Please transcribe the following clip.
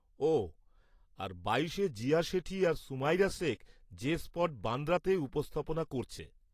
ওহ, আর বাইশে জিয়া শেঠি আর সুমাইরা শেখ জে স্পট, বান্দ্রাতে উপস্থাপনা করছে।